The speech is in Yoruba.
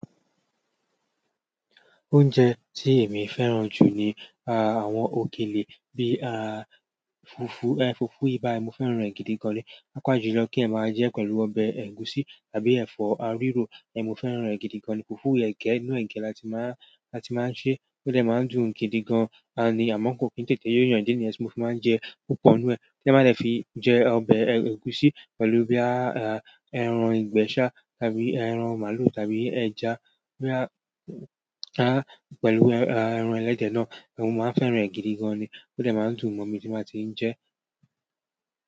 Oúnjẹ tí èmi fẹ́ràn jù ni àwọn òkèlè bíi à fùfú, ẹ fùfú bayi mo fẹ́ràn è gidi gan ni. Papàjùlọ kí ẹyan máa jẹ pẹ̀lú ọbẹ̀ ẹ̀gúsí tàbí ẹ̀fọ́ riro mo fẹ́ràn è gidi gan ni. Fùfú ẹge inú ẹge làti máa, làti máa ń ṣe o de máa ń dùn gidi gan ni. Àmọ́ ko ki n tètè yó yàn, idi niyen ti mo fi máa ń jẹ púpọ̀ nú ẹ̀ ti eyan ba de fi jẹ ọbẹ̀ ẹ̀gúsí pẹ̀lú bí i ẹran ìgbẹ́ sa tàbí ẹran màlúù tàbí ẹja. Boya a pẹ̀lú ẹran ẹlẹ́dẹ̀ náà mo máa fẹ́ràn è gidi gan ni o de máa ń dùn ọ̀mọ̀ mi tí máa ti ń jẹ.